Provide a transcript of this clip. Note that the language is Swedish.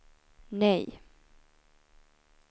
nej